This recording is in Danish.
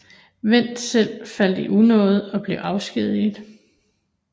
Wendt selv faldt i unåde og blev afskediget